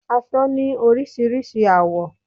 Aṣọ ni orísirísi àwọ̀